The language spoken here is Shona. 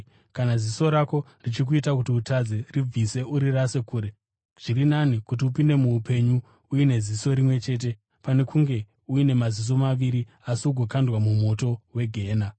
Kana ziso rako richikuita kuti utadze ribvise urirasire kure. Zviri nani kuti upinde muupenyu uine ziso rimwe chete pane kunge uine maziso maviri asi ugokandwa mumoto wegehena.